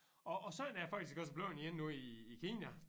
Og og sådan er det faktisk også bleven igen nu i i Kina